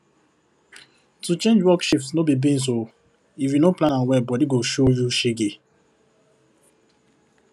to change work shift no be beans o if u no plan am well body go show you shege